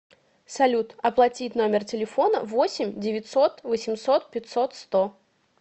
салют оплатить номер телефона восемь девятьсот восемьсот пятьсот сто